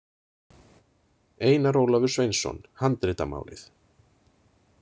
Einar Ólafur Sveinsson, Handritamálið.